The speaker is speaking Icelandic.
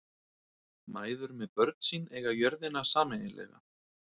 Mæður með börn sín eiga jörðina sameiginlega.